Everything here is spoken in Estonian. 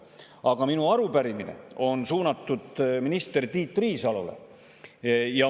Aga minu arupärimine on suunatud minister Tiit Riisalole.